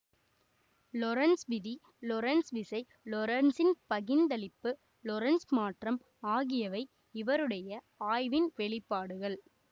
Lorentz விதி Lorentz விசை லொரன்சின் பகிந்தளிப்பு லொரன்சு மாற்றம் ஆகிய்வை இவருடைய ஆய்வின் வெளிப்பாடுகள்